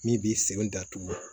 Min b'i sen datugu